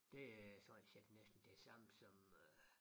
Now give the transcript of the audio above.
Det sådan set næsten det samme som øh